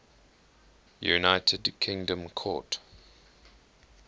united kingdom court